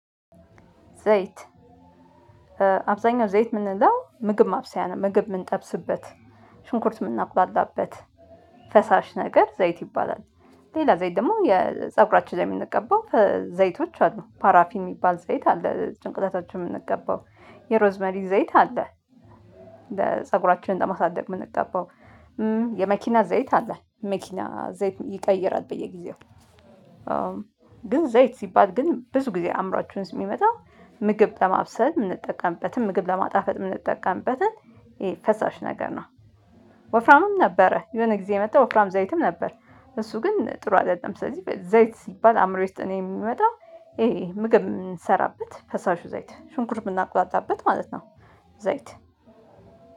ዘይት አብዛኛው ዘይት የምንለው ምግብ ማብሰያ ነው ምግብ የምንጠብስበት ሽንኩርት የምናቁላላበት ፈሳሽ ነገር ዘይት ይባላል። ሌላ ዘይት ደግሞ የፀጉራችን ላይ የምንቀባው ዘይቶች አሉ ፓራፊን የሚባል ዘይት አለ ጭንቅላታቸው የምንቀባው የሮዝ መሪ ዘይት አለ። ለፀጉራችን ለማሳደግ የምንቀባው የመኪና ዘይት አለ መኪና ዘይት ይቀይራል በየጊዜው። ግን ዘይት ሲባል ግን ብዙ ጊዜ አአምራችን የሚመጣው ምግብ ለማብሰል የምንጠቀምበትን ምግብ ለማጣፈጥ የምንጠቀምበትን ይሄ ፈሳሽ ነገር ነው። ወፍራምም ነበረ የሆነ ጊዜ የመጣ ወፍራም ዘይትም ነበር። እሱ ግን ጥሩ አይደለም ስለዚህ ዘይት ሲባል አእምሮዬ ውስጥ ነው የሚመጣው። ይሄ ምግብ የምንሰራበት ፈሳሹ ዘይት ሽንኩርት የምናቁላላበት ማለት ነው። ዘይት